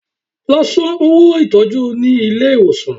Lọ san owó ìtọ́jú ní ilé ìwòsàn!